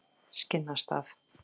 Skinnastað